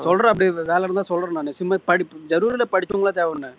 சொல்றேன் அப்படியே வேலை இருந்தா சொல்றேன் நான் சும்மா ஜரூர்ல படிச்சவங்க தேவைன்னு